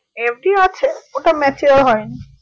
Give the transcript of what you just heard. FD আছে ওটা mature হয়নি